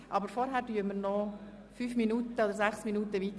Aber vorher debattieren wir noch ein paar Minuten weiter.